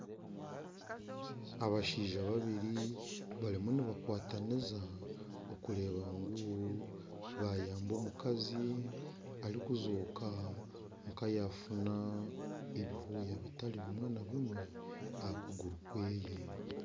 Abashaija babiri barimu nibakwatanisa okureeba ngu bayamba omukazi arikureebeka kayafuna ebironda bitari bimwe na bimwe aha kuguru kweeye .